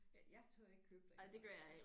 Ja jeg tør ikke købe derinde